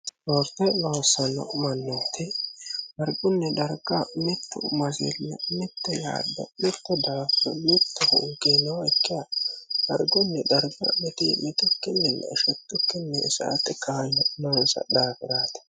ispoorte loossanno mannooti dargunni darga mittu masilli mitte yaaddo mittu daafuri mittu hunkii nookkiha dargunni darga mitiimitukkinninna shettukinni sa"ate kaayyo noonsa daafi'raati.